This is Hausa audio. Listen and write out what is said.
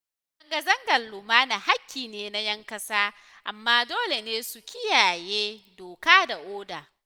Zanga-zangar lumana haƙƙi ne na ‘yan ƙasa, amma dole ne su kiyaye doka da oda.